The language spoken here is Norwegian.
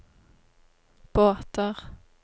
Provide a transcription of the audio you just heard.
båter